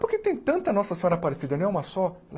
Porque tem tanta Nossa Senhora aparecida, não é uma só?